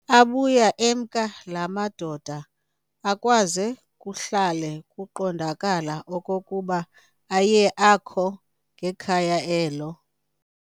Abuya emka laa madoda, akwaze kuhlale kuqondakala okokuba ayekhe akho ngekhaya elo.